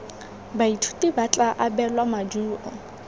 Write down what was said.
baithuti ba tla abelwa maduo